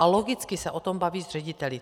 A logicky se o tom baví s řediteli.